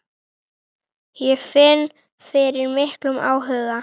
Ég finn fyrir miklum áhuga.